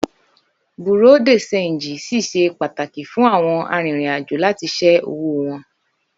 Bùréàú de ṣéńjì ṣì ṣe pàtàkì fún àwọn arìnrìn-àjò láti sẹ́ owó wọn